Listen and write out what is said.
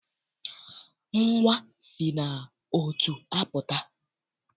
Nnwa si n'ọtụ apụta.